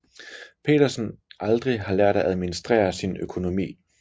Petersen aldrig har lært at administrere sin økonomi